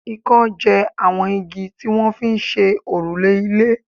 ìkan jẹ àwọn igi tí wọ́n fi ń ṣe òrùlé ilé